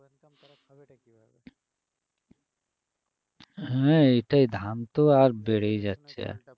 হ্যাঁ এটাই ধান তো আর বেড়েই যাচ্ছে আর